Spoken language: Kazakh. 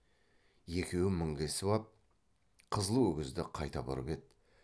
екеуі мінгесіп ап қызыл өгізді қайта бұрып еді